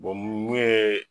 Bɔn mun ye